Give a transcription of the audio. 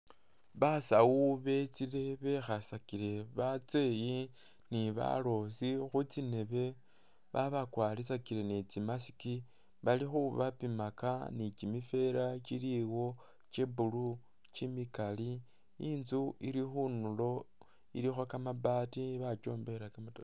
Basawu betsile bekhasakile batseyi ni balosi khutsindebe babakwaritsakile ni tsi mask bali khubapimaka ni kyimibeera kyiliwo kye blue kyimikali, inzu ili khundulo ilikho kamabaati bakyombakhila kamatofari.